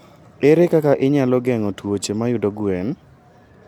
Ere kaka inyalo geng'o tuoche mayudo gwen?